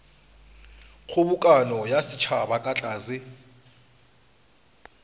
kgobokano ya setšhaba ka tlase